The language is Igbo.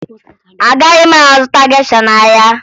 Agaghị m azụta gesha n'ahịa